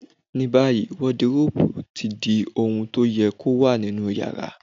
Ní báyìí, wọdiróòbù ti di ohun to yẹ kó wà nínú yàrá.